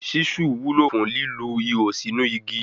Ṣísù wúlò fún lílu ihò síínu igi.